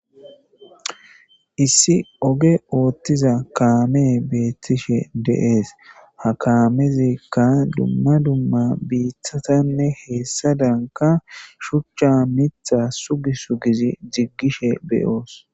Issi oge oothiza kaamey beetishe de'es ha kaamezika dumma dumma biitatanne hessadanka shuchcha miththa Sugi sugizi diggishe be'oos.